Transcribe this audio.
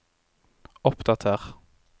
oppdater